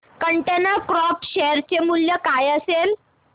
container corp share चे मूल्य काय असेल